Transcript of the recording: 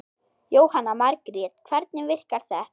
Jóhanna Margrét: Hvernig virkar þetta?